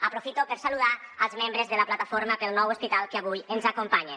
aprofito per saludar els membres de la plataforma pel nou hospital que avui ens acompanyen